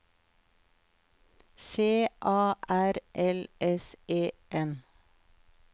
C A R L S E N